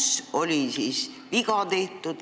Kus oli siis viga tehtud?